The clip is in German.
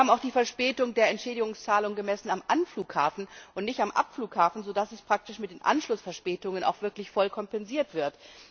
Wir haben auch die Entschädigungszahlung für Verspätung gemessen am Anflughafen und nicht am Abflughafen, sodass es praktisch mit den Anschlussverspätungen auch wirklich voll kompensiert wird.